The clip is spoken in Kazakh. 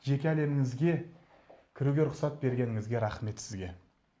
жеке әлеміңізге кіруге рұқсат бергеніңізге рахмет сізге